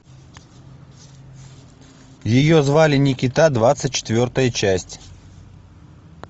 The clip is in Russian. ее звали никита двадцать четвертая часть